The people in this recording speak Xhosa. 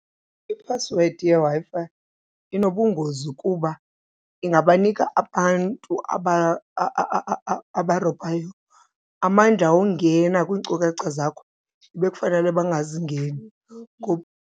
Iphasiwedi yeWi-Fi inobungozi kuba ingabanika abantu abarobhayo amandla wongena kwiinkcukacha zakho ebekufanele bangazingeni .